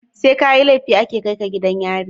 SE kayi lefi ake kaika gidan yari?